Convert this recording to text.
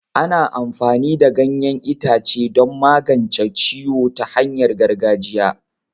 Ana amfani da ganyen ita ce don magance ciwo ta hanyar gargajiya.